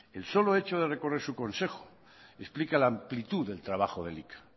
el solo hecho de recorrer su consejo explica la amplitud del trabajo de elika